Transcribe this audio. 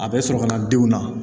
A bɛ sɔrɔ ka na denw na